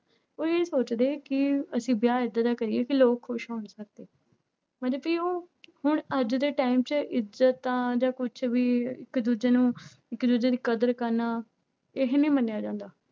ਉਹ ਇਹ ਸੋਚਦੇ ਹੈ ਕਿ ਅਸੀਂ ਵਿਆਹ ਏਦਾਂ ਦਾ ਕਰੀਏ ਕਿ ਲੋਕ ਖ਼ੁਸ਼ ਹੋਣ ਮਤਲਬ ਵੀ ਉਹ ਹੁਣ ਅੱਜ ਦੇ time ਚ ਇੱਜ਼ਤਾਂ ਜਾਂ ਕੁਛ ਵੀ ਇੱਕ ਦੂਜੇ ਨੂੰ ਇੱਕ ਦੂਜੇ ਦੀ ਕਦਰ ਕਰਨਾ ਇਹ ਨੀ ਮੰਨਿਆ ਜਾਂਦਾ।